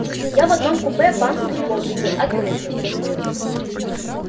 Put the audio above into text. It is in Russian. я в одном купе банку грибов видел открытую